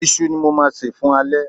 Iṣu ni mo máa sè fún alẹ́